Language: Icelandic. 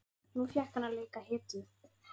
Nú fékk hann að leika hetju.